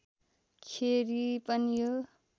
खेरि पनि यो